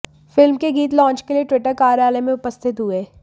film के गीत launch के लिए ट्विटर कार्यालय में उपस्थित हुए